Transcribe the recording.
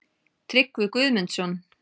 Tryggvi Guðmundsson.